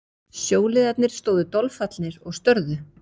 Sjóliðarnir stóðu dolfallnir og störðu.